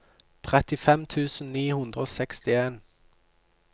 trettifem tusen ni hundre og sekstien